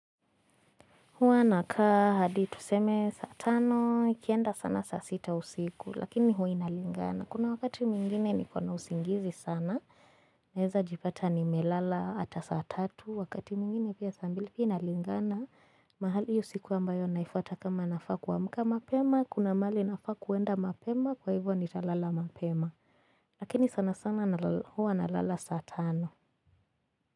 Huwa nakaa hadi tuseme saa tano, ikienda sana saa sita usiku, lakini huwa inalingana. Kuna wakati mwingine niko na usingizi sana. Naeza jipata nimelala hata saa tatu, wakati mwingine pia saa mbili pia inalingana. Mahali usiku ambayo inayofuata kama nafaa kuamuka mapema, kuna mahali nafaa kuenda mapema, kwa hivyo nitalala mapema. Lakini sana sana huwa nalala saa tano.